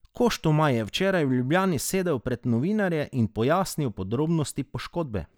Koštomaj je včeraj v Ljubljani sedel pred novinarje in pojasnil podrobnosti poškodbe.